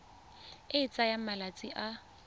e e tsayang malatsi a